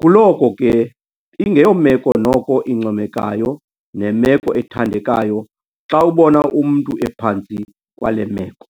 Kuloko ke ingeyomeko noko incomekayo nemeko ethandekayo xa ubona umntu ephantsi kwale meko.